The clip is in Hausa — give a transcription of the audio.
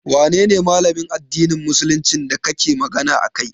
Wanene Malamin addinin musuluncin da kake magana a kai?